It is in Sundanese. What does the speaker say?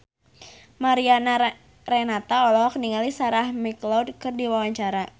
Mariana Renata olohok ningali Sarah McLeod keur diwawancara